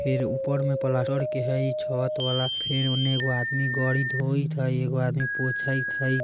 फिर ऊपर में प्लास्टर के हे हइ छत वाला । फेर ओने एगो आदमी गाड़ी धोइत हई एगो आदमी पोंछेथ हई।